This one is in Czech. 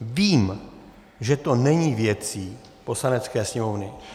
Vím, že to není věcí Poslanecké sněmovny.